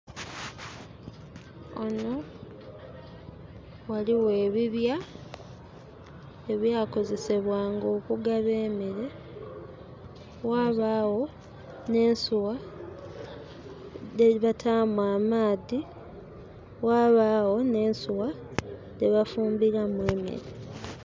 Ghano ghaligho ebibya ebyakozesebwanga okugaba emeere, ghabagho nh'ensuwa dhebataamu amaadhi, ghabagho nh'ensuwa dhebafumbiramu emere.